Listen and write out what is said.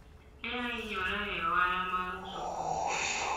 ne ohinyore e ohala mar uso kongo